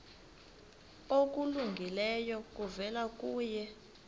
okulungileyo kuvela kuye